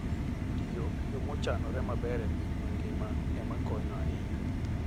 Tiyo e yo mochanore maber e piny mangima ema konyo ahinya.